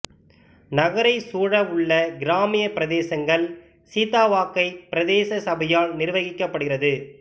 நகரைச் சூழவுள்ள கிராமிய பிரதேசங்கள் சீதாவாக்கைப் பிரதேச சபையால் நிர்வகிக்கப்படுகிறது